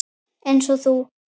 Eins og þú.